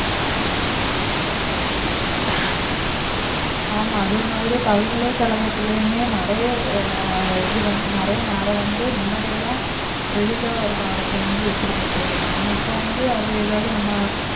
ஆமா அதே மாதிரி பல்கலைக்கழகத்திலயுமே நிறைய அஹ் இது வந்து நிறைய நேரம் வந்து முன்னாடி எல்லாம் எளிதா ஒரு பாடத்தை வந்து வெற்றி பெற்றிடலாம் ஆனா இப்ப வந்து அதை ஏதாவது நம்ம